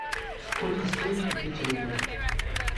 сколько стоит купить рубль